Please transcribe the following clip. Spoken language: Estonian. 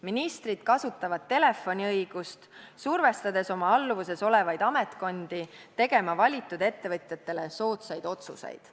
Ministrid kasutavad telefoniõigust, survestades oma alluvuses olevaid ametkondi tegema valitud ettevõtjatele soodsaid otsuseid.